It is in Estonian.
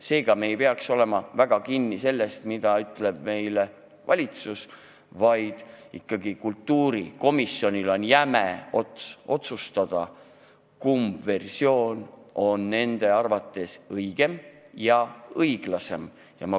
Seega me ei peaks olema väga kinni selles, mida ütleb meile valitsus, vaid kultuurikomisjoni käes on ikkagi jäme ots otsustada, kumb versioon on õigem ja õiglasem.